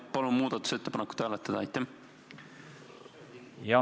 Palun muudatusettepanekut hääletada.